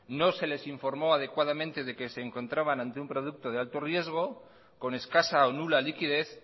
no se les informó adecuadamente de que se encontraban ante un producto de alto riesgo con escasa o nula liquidez